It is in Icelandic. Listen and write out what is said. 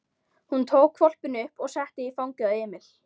Hún tók hvolpinn upp og setti í fangið á Emil.